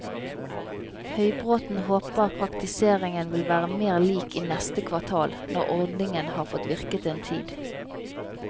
Høybråten håper praktiseringen vil være mer lik i neste kvartal, når ordningen har fått virket en tid.